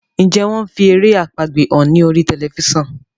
Njé wón fí èrè àpagbè hàn ní orí Tẹlifísàn?